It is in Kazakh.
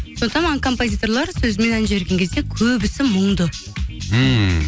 сондықтан маған композиторлар сөзімен ән жіберген кезде көбісі мұңды ммм